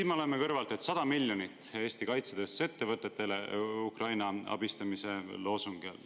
Aga nüüd siin kõrval me loeme, et 100 miljonit läheb Eesti kaitsetööstusettevõtetele Ukraina abistamise loosungi all.